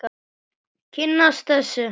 Kynnast þessu.